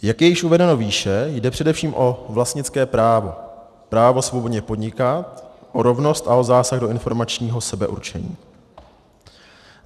Jak je již uvedeno výše, jde především o vlastnické právo, právo svobodně podnikat, o rovnost a o zásah do informačního sebeurčení.